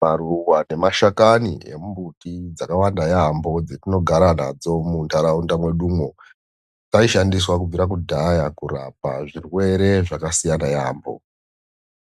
Maruwa nemashakani emumbuti dzakawanda yaemho dzetinogara nadzo munharaunda mwedumwo aishandiswa kubvira kudhaya kurapa zvirwere zvakasiyana yaemho,